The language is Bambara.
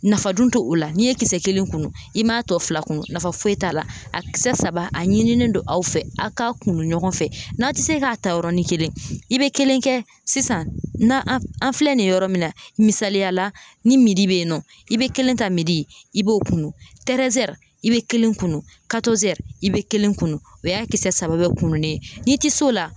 Nafa dun t' o la n'i ye kisɛ kelen kunu i m'a tɔ fila kunu nafa foyi t'a la a kisɛ saba a ɲinilen don aw fɛ a k'a kunu ɲɔgɔn fɛ n'a ti se k'a ta yɔrɔnin kelen i be kelen kɛ sisan nan an an filɛ nin ye yɔrɔ min na misaliyala ni midi be yen nɔ i be kelen ta midi i b'o kunu tɛrɛzɛri i be kelen kun katɔzɛri i be kelen kunu o y'a kisɛ saba bɛɛ kununen n'i ti se o la